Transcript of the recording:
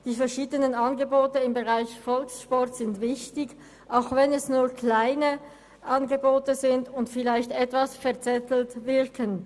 Die verschiedenen Angebote im Volkssport sind wichtig, auch wenn sie nur klein sind und vielleicht etwas verzettelt wirken.